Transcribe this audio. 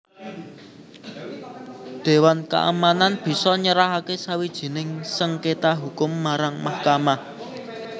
Dewan keamanan bisa nyerahaké sawijining sengkéta hukum marang mahkamah